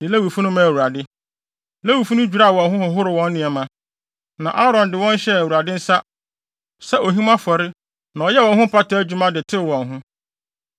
Lewifo no dwiraa wɔn ho, horoo wɔn nneɛma. Na Aaron de wɔn hyɛɛ Awurade nsa sɛ ohim afɔre na ɔyɛɛ wɔn ho mpata adwuma de tew wɔn ho.